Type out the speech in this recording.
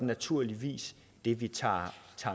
naturligvis det vi tager